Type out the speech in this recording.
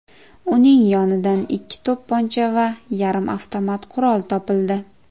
Uning yonidan ikki to‘pponcha va yarim avtomat qurol topildi.